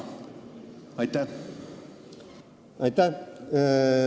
Aitäh!